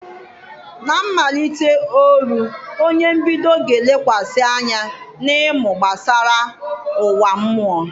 Na mmalite Oru onye mbido ga-elekwasị anya n'ịmụ gbasara ụwa mmụọ.